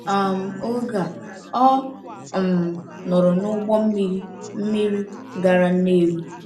um Oge a, ọ um nọrọ n’ụgbọ mmiri mmiri gara Nnewi.